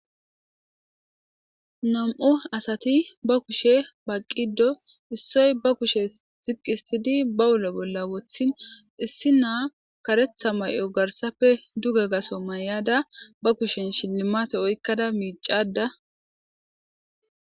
Nam'u asati ba kuushshe baqiddii issoy ba kuushshe ba uulo bolla wooththti issina kareththa garssappe duuge gaththo mayada ba kushshen shilimate oyqadda miccayida de'.awus